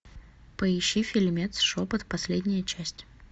поищи фильмец шепот последняя часть